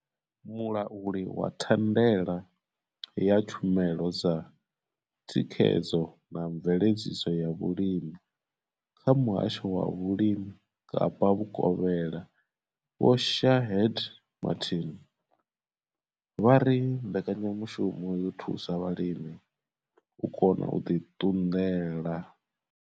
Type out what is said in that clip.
Mulauli wa thandela ya tshumelo dza thikhedzo na mveledziso ya vhulimi kha muhasho wa vhulimi Kapa vhukovhela Vho Shaheed Martin vha ri mbekanyamushumo yo thusa vhalimi u kona u ḓi ṱunḓela.